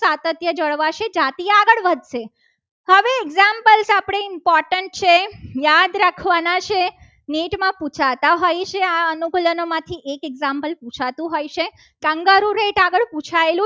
સાતત્ય જળવાશે. જાતીય આગળ વધશે. હવે એક્ઝામ્પલ આપણે in cotton છે. યાદ રાખવાના છે નીટ માં પૂછાતા હોય છે. આ અનુકૂલનોમાંથી એક એક example પૂછાતું હોય છે. કાંગારું એક આગળ પુછાયેલું